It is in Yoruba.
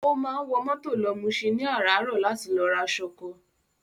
Ó máa ń wọ mọ́tò lọ Muṣin ní àràárọ̀ láti lọ ra ṣọkọ.